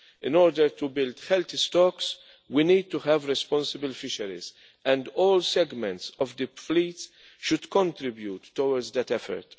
In order to build healthy stocks we need to have responsible fisheries, and all segments of the fleet should contribute towards that effort.